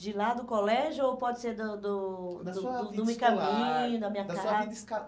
De lá do colégio ou pode ser do do, da sua vida escolar, do meu caminho, da minha casa? Da sua vida